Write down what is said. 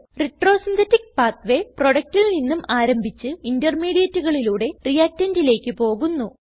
retrosynthetic pathway പ്രോഡക്റ്റിൽ നിന്നും ആരംഭിച്ച് intermediateകളിലൂടെ reactantലേക്ക് പോകുന്നു